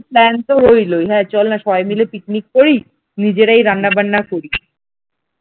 plan তো রইলোই হ্যাঁ চল না সবাই মিলে পিকনিক করি নিজেরাই রান্নাবান্না করি ।